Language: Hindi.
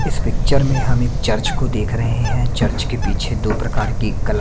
इस पिक्चर में हम एक चर्च को देख रहे हैं चर्च के पीछे दो प्रकार की कला--